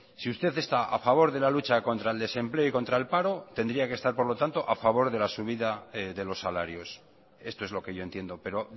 si usted está a favor de la lucha contra el desempleo y contra el paro tendría que estar por lo tanto a favor de la subida de los salarios esto es lo que yo entiendo pero